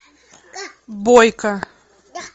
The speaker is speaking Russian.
бойко